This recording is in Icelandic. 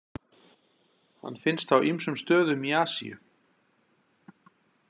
Hann finnst á ýmsum stöðum í Asíu.